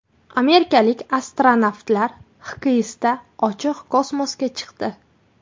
Amerikalik astronavtlar XKSda ochiq kosmosga chiqdi.